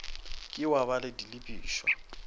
ke wa ba le dilebišwa